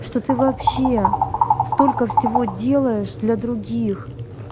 что ты вообще столько всего делаешь для других